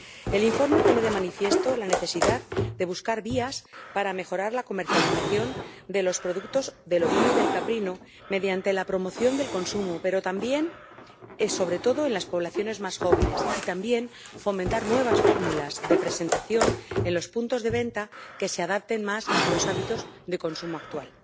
El informe pone de manifiesto la necesidad de buscar vías para mejorar la comercialización de los productos de los sectores ovino y caprino, mediante la promoción del consumo, sobre todo en las poblaciones más jóvenes, y también fomentar nuevas fórmulas de presentación en los puntos de venta que se adapten más a los hábitos de consumo actual.